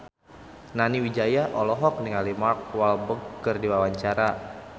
Nani Wijaya olohok ningali Mark Walberg keur diwawancara